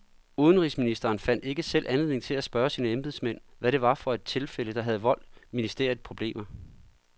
Udenrigsministeren fandt ikke selv anledning til at spørge sine embedsmænd, hvad det var for et tilfælde, der havde voldt ministeriet problemer.